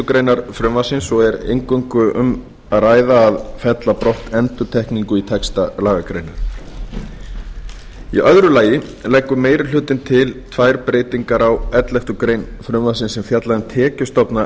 grein frumvarpsins og er eingöngu um að ræða að fella brott endurtekningu í texta lagagreinarinnar í öðru lagi leggur meiri hlutinn til tvær breytingar á elleftu greinar frumvarpsins sem fjallar um tekjustofna